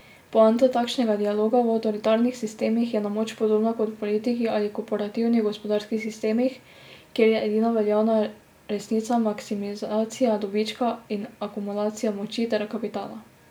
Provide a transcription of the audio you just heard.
Poanta takšnega dialoga v avtoritarnih sistemih je na moč podobna kot v politiki ali korporativnih gospodarskih sistemih, kjer je edina veljavna resnica maksimizacija dobička in akumulacija moči ter kapitala.